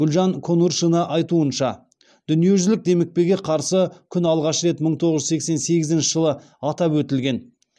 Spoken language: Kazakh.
гүлжан конуршина айтуынша дүниежүзілік демікпеге қарсы күн алғаш рет мың тоғыз жүз сексен сегізінші жылы атап өтілген